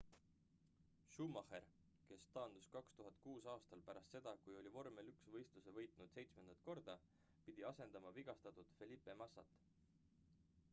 schumacher kes taandus 2006 aastal pärast seda kui oli vormel 1 võistluse võitnud seitsmendat korda pidi asendama vigastatud felipe massast